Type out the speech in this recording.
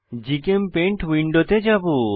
GChemPaint উইন্ডোতে যাবো